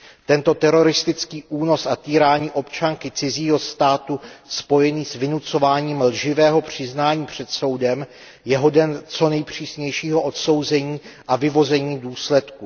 Tento teroristický únos a týrání občanky cizího státu spojený s vynucováním lživého přiznání před soudem je hoden co nejpřísnějšího odsouzení a vyvození důsledků.